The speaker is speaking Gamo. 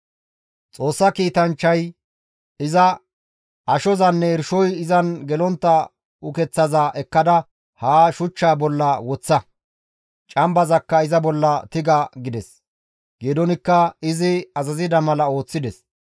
Xoossa kiitanchchay iza, «Ashozanne irshoy izan gelontta ukeththaza ekkada ha shuchchaa bolla woththa; cambazakka iza bolla tiga» gides; Geedoonikka izi azazida mala ooththides.